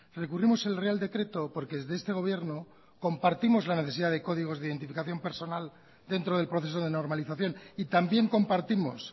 recurrimos el real decreto porque desde este gobierno compartimos la necesidad de códigos de identificación personal dentro del proceso de normalización y también compartimos